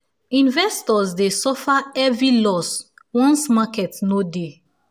investors dey suffer heavy loss once market no dey